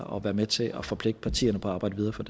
og være med til at forpligte partierne på at arbejde videre for